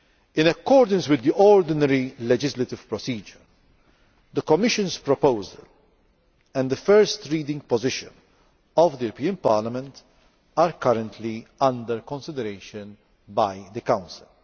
In accordance with the ordinary legislative procedure, the Commission's proposal and the first reading position of the European Parliament are currently under consideration by the Council.